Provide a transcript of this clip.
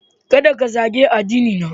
Kada ku zagi addinina!